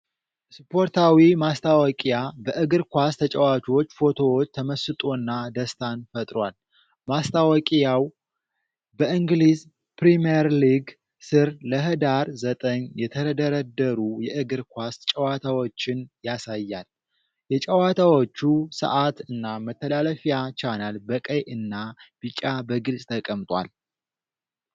ስፖርታዊ ማስታወቂያ በእግር ኳስ ተጫዋቾች ፎቶዎች ተመስጦና ደስታን ፈጥሯል። ማስታወቂያው በ"የእንግሊዝ ፕሪሚየር ሊግ" ስር ለህዳር 9 የተደረደሩ የእግር ኳስ ጨዋታዎችን ያሳያል። የጨዋታዎቹ ሰዓት እና መተላለፊያ ቻናል በቀይ እና ቢጫ በግልጽ ተቀምጧል።